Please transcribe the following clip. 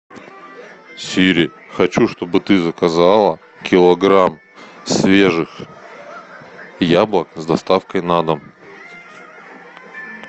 сири хочу чтобы ты заказала килограмм свежих яблок с доставкой на дом